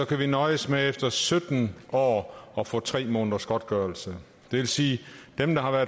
kan nøjes med efter sytten år at få tre måneders godtgørelse det vil sige at dem der har været